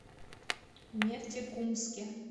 нефтекумске